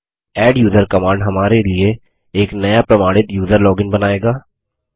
adduser command हमारे लिए एक नया प्रमाणित यूज़र लॉगिन बनाएगा